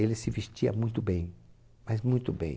Ele se vestia muito bem, mas muito bem.